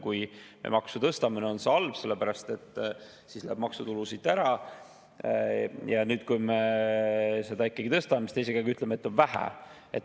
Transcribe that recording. Kui me maksu tõstame, on see ühel hetkel halb, sest siis läheb maksutulu siit ära, ja nüüd, kui me seda ikkagi tõstame, siis ütlete, et seda on vähe.